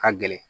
Ka gɛlɛn